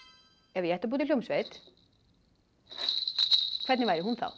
ef ég ætti að búa til hljómsveit hvernig væri hún þá